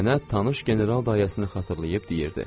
Nənə tanış general dayəsini xatırlayıb deyirdi.